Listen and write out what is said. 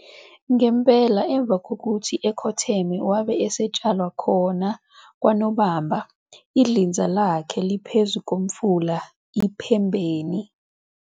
ngempela emva kokithi ekhotheme wabe esetshalwa khona kwanoBamba, idlinza lakhe liphezu komfula iMpembeni.